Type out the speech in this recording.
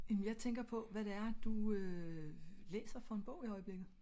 jamen jeg tænker på hvad det er du øh læser for en bog i øjeblikket?